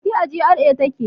Fati a GRA take